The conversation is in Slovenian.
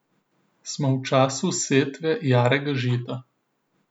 Smo v času setve jarega žita.